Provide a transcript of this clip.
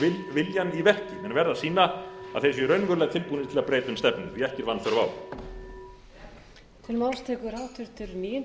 viljann í verki menn verða að sýna að þeir séu raunverulega tilbúnir til að breyta um stefnu því að ekki er vanþörf á